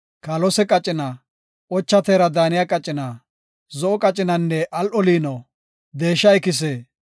kaalose qacina, ocha teera daaniya qacina, zo7o qacinanne al7o liino, deesha ikise,